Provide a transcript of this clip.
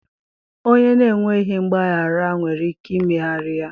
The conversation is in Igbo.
Onye na-enweghị mgbaghara nwere ike imegharị ya,